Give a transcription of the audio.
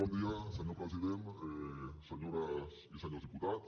bon dia senyor president senyores i senyors diputats